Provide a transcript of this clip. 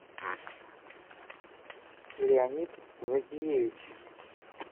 леонид закиевич